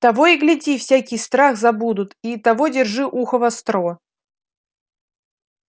того и гляди всякий страх забудут и того держи ухо востро